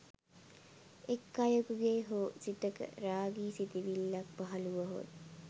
එක් අයකු ගේ හෝ සිතක රාගී සිතිවිල්ලක් පහළ වුවහොත්